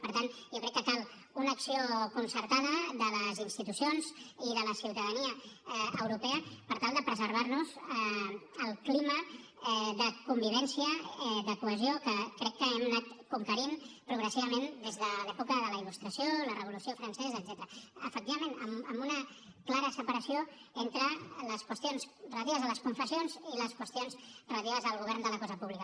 per tant jo crec que cal una acció concertada de les institucions i de la ciutadania europea per tal de preservar nos el clima de convivència de cohesió que crec que hem anat conquerint progressivament des de l’època de la il·lustració la revolució francesa etcètera efectivament amb una clara separació entre les qüestions relatives a les confessions i les qüestions relatives al govern de la cosa pública